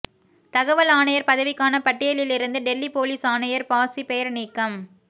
தகவல் ஆணையர் பதவிக்கான பட்டியலிலிருந்து டெல்லி போலீஸ் ஆணையர் பாஸி பெயர் நீக்கம்